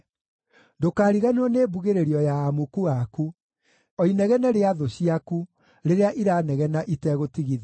Ndũkariganĩrwo nĩ mbugĩrĩrio ya amuku aku, o inegene rĩa thũ ciaku, rĩrĩa iranegena itegũtigithĩria.